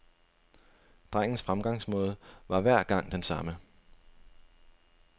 Drengens fremgangsmåde var hver gang den samme.